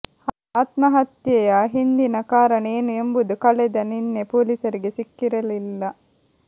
ಆತ್ಮಹತ್ಯೆಯ ಹಿಂದಿನ ಕಾರಣ ಏನು ಎಂಬುದು ಕಳೆದ ನಿನ್ನೆ ಪೊಲೀಸರಿಗೆ ಸಿಕ್ಕಿರಲಿಲ್ಲ